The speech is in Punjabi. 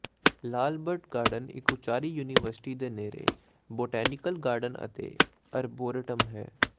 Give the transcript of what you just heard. ਲਾਲ ਬੱਟ ਗਾਰਡਨ ਇਕ ਉਚਾਹ ਯੂਨੀਵਰਸਿਟੀ ਦੇ ਨੇੜੇ ਬੋਟੈਨੀਕਲ ਗਾਰਡਨ ਅਤੇ ਅਰਬੋਰੇਟਮ ਹੈ